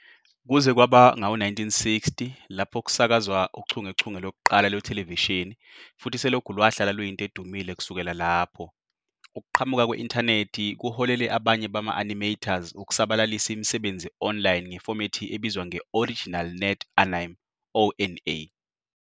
Kuze kwaba ngawo-1960 lapho kusakazwa uchungechunge lokuqala lwethelevishini futhi selokhu lwahlala luyinto edumile kusukela lapho. Ukuqhamuka kwe-Intanethi kuholele abanye bama-animators ukusabalalisa imisebenzi online ngefomethi ebizwa nge- " original net anime ", ONA.